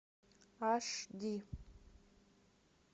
аш ди